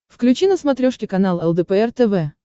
включи на смотрешке канал лдпр тв